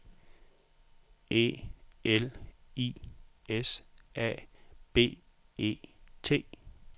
E L I S A B E T